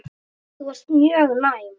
Þú varst mjög næm.